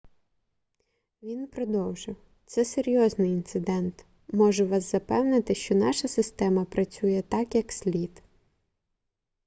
він продовжив це серйозний інцидент можу вас запевнити що наша система працює так як слід